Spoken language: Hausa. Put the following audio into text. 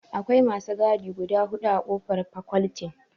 Akwai masu gadi guda huɗu a ƙofar fakoltin.